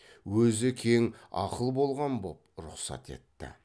өзі кең ақыл болған боп рұқсат етті